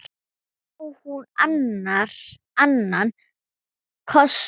En á hún annan kost?